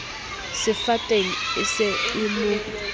sefateng e se e mo